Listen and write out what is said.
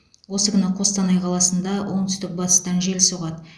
осы күні қостанай қаласында оңтүстік батыстан жел соғады